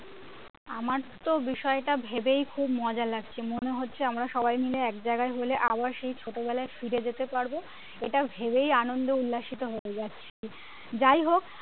আমার তো বিষয়টা ভেবেই খুব মজা লাগছে মনে হচ্ছে আমরা সবাই মিলে একজায়গায় হলে আবার সেই ছোটবেলায় ফিরে যেতে পারবো এটা ভেবেই আনন্দ উল্লাসিত হতে যাচ্ছি যাই হোক